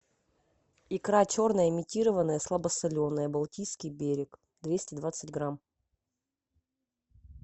икра черная имитированная слабосоленая балтийский берег двести двадцать грамм